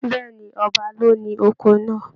Bẹ̀ẹ́ni, ọba ló ní oko náà.